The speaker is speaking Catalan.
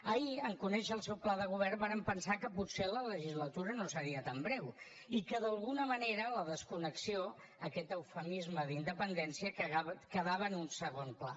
ahir en conèixer el seu pla de govern vàrem pensar que potser la legislatura no seria tan breu i que d’alguna manera la desconnexió aquest eufemisme d’independència quedava en un segon pla